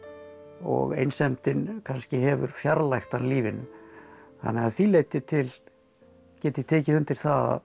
og einsemdin kannski hefur fjarlægt hann lífinu þannig að því leyti til get ég tekið undir það